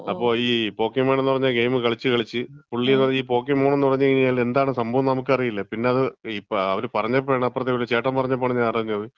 അപ്പം ഈ പോക്കീമാൻ എന്ന് പറയുന്ന ഗെയിം കളിച്ച് കളിച്ച്, പുള്ളിന്ന് പറഞ്ഞാ ഈ പോക്കീമൂൺ എന്ന് പറഞ്ഞാ എന്താണ് സംഭവം എന്ന് നമ്മക്ക് അറീല. പിന്നെ ഇപ്പം അത് അവര് പറഞ്ഞപ്പഴാണ്, അപ്പറത്തെ വീട്ടിലെ ചേട്ടൻ പറഞ്ഞപ്പഴാണ് ഞാൻ അറിഞ്ഞത്.